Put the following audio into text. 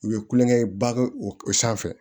U ye kulonkɛ ba o sanfɛ